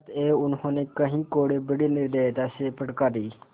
अतएव उन्होंने कई कोडे़ बड़ी निर्दयता से फटकारे